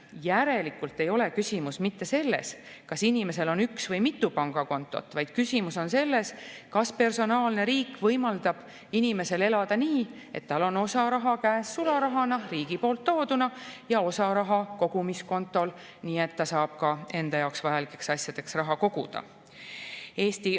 Järelikult ei ole küsimus mitte selles, kas inimesel on üks või mitu pangakontot, vaid küsimus on selles, kas personaalne riik võimaldab inimesel elada nii, et tal on osa raha käes sularahana riigi poolt tooduna ja osa raha kogumiskontol, nii et ta saab vajalikeks asjadeks raha koguda.